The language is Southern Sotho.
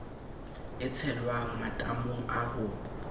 e tshelwang matamong a ho